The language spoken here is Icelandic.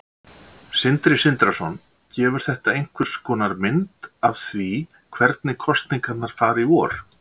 Sindri Sindrason: Gefur þetta einhverskonar mynd af því hvernig kosningarnar fara í vor?